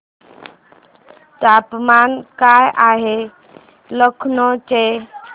तापमान काय आहे लखनौ चे